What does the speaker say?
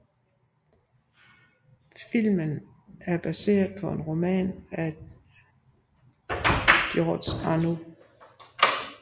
Filmen er baseret på en roman af Georges Arnaud